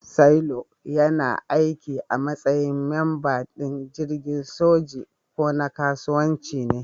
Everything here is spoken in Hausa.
Sailor yana aiki a matsayin mamba din jirgin soji ko na kasuwanci ne.